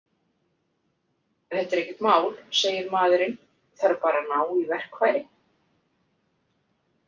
Þetta er ekkert mál, segir maðurinn, þarf bara að ná í verkfæri.